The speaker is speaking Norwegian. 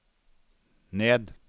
ned